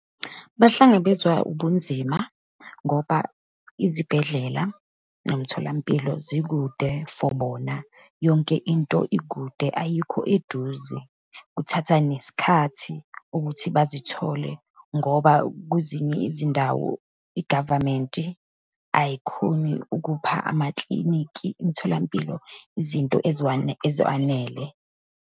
Bahlangabezwa ubunzima ngoba izibhedlela nomtholampilo zikude for bona. Yonke into ikude, ayikho eduze. Kuthatha nesikhathi ukuthi bazithole, ngoba kwezinye izindawo i-government ayikhoni ukupha amaklinikhi, imtholampilo izinto eziwanele.